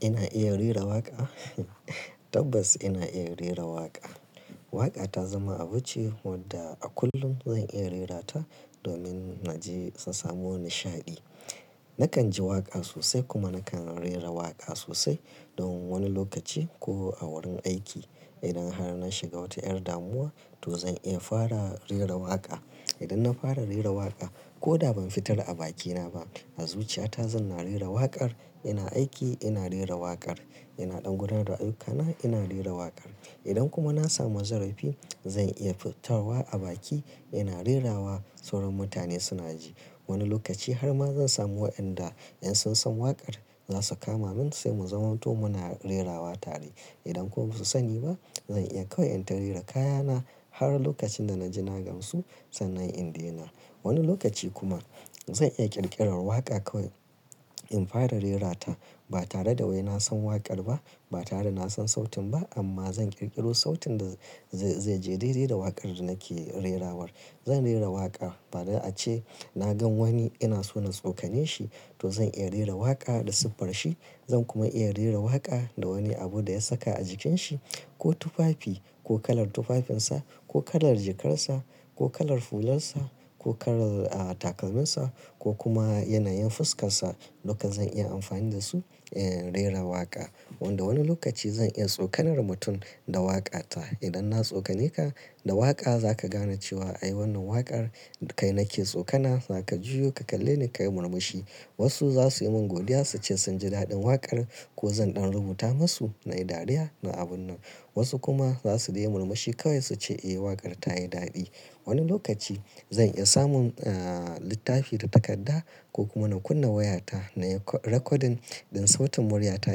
Ina iya rera waƙa? Tabbas ina iya rera waƙa. Waƙa ta zama abu ce wadda a kullum zan iya rerata domin na je su samu nishaɗi. Nakan ji waƙa sosai kuma nakan rera waƙa sosai don wani lokaci ko a wurin aiki. Idan har na shiga wata 'yar damuwa to zan iya fara rera waƙa. Idan na fara rera waƙa ko da ban fitar a bakina ba, a zuciyata zan na rera waƙar. Ina aiki ina rera waƙar, ina ɗan gudanar da ayyukana ina rera waƙar. Idan kuma na samu zarafi zan iya fitarwa a baki ina rerawa sauran mutane suna ji. Wani lokaci har ma zan samu waɗanda in sun san waƙar za su kama min sai mu zama to muna rerawa tare. Idan kuma ba su sani ba zan iya kawai in tare kayana har lokacin da na ji na gansu sannan in daina. Wani lokaci kuma zan iya ƙirƙirar waƙa kawai in fara rerata. Ba tare da wai na san waƙar ba, ba tare da na san sautin ba amma zan ƙirƙiro sautin da zai, zai je daidai da waƙar da nake rerawar. Zan rera waƙa bari ace na gan wani ina so na tsokane shi to zan iya rera waƙa da siffar shi. Zan kuma iya rera waƙa da wani abu da ya saka a jikinsa ko tufafi ko kalar tufafinsa ko kalar jikarsa ko kalar fularsa ko kalar, ah, takalminsa ko kuma yanayin fuskarsa. Duka zan iya amfani da su, eh, rera waƙa. Wanda wani lokaci zan iya tsokanar mutum da waƙata. Idan na tsokane ka da waƙa za ka gane cewa ai wannan waƙar kai nake tsokana, za ka juya ka kalle ni ka yi murmushi. Wasu za su yi min godiya su ce sun ji daɗin waƙar ko zan ɗan rubuta masu na yi dariya na abun nan. Wasu kuma za su daina murmushi kawai su ce eh waƙar ta yi daɗi. Wani lokaci zan iya samun, ah, littafi da takadda ko kuma na kunna wayata na yi ra-rakodin ɗin sautin muryata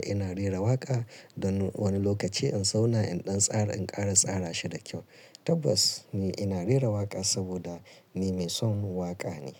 ina rera waƙa. Don wani lokaci in zauna in ɗan tsara in ƙara tsara shi da kyau. Tabbas ni ina rera waƙa saboda ni mai son waƙa ne.